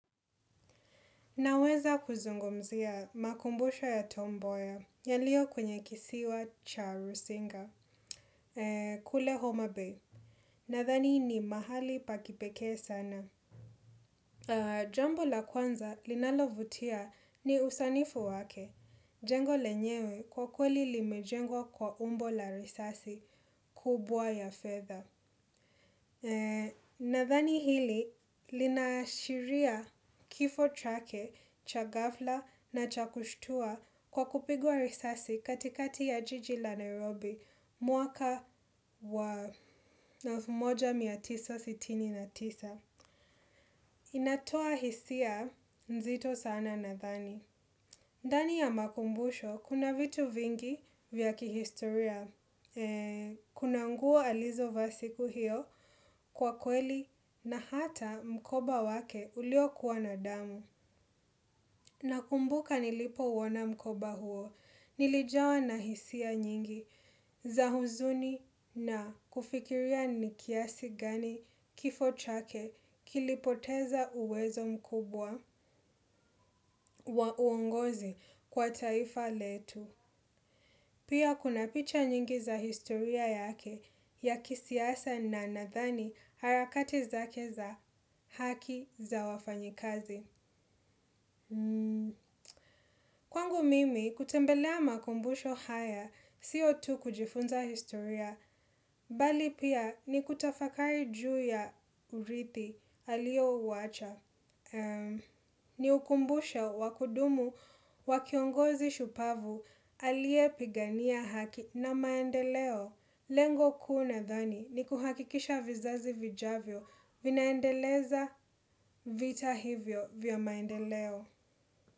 Naweza kuzungumzia makumbusho ya tom mboya, yaliyo kwenye kisiwa cha rusinga, kule homa bay. Nathani ni mahali pa kipekee sana. Jambo la kwanza linalovutia ni usanifu wake, jengo lenyewe kwa kweli limejengwa kwa umbo la risasi, kubwa ya fedha. Nadhani hili linaashiria kifo chake, cha ghafla na cha kushtua kwa kupigwa risasi katikati ya jiji la Nairobi mwaka wa elfu moja mia tisa sitini na tisa. Inatoa hisia nzito sana nadhani. Ndani ya makumbusho, kuna vitu vingi vya kihistoria. Kuna nguo alizovaa siku hiyo kwa kweli na hata mkoba wake ulio kuwa na damu. Nakumbuka nilipo uona mkoba huo, nilijawa na hisia nyingi za huzuni na kufikiria nikiasi gani kifo chake kilipoteza uwezo mkubwa wa uongozi kwa taifa letu. Pia kuna picha nyingi za historia yake ya kisiasa na nadhani harakati zake za haki za wafanyikazi. Kwangu mimi kutembelea makumbusho haya sio tu kujifunza historia, bali pia ni kutafakari juu ya urithi alio uwacha. Ni ukumbusho wa kudumu wa kiongozi shupavu aliye pigania haki na maendeleo. Lengo kuu nadhani ni kuhakikisha vizazi vijavyo vinaendeleza vita hivyo vya maendeleo.